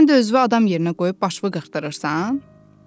Sən də özünü adam yerinə qoyub başını qırxdırırsan?